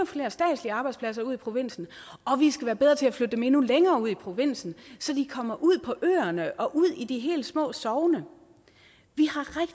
flere statslige arbejdspladser ud i provinsen og vi skal være bedre til at flytte dem endnu længere ud i provinsen så de kommer ud på øerne og ud i de helt små sogne